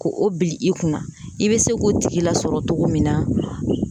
Ko o bili i kunna i bɛ se k'o tigi lasɔrɔ cogo min na